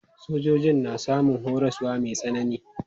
Sojojin na samun horaswa mai tsanani.